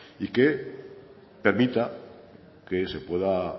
y que permita que se pueda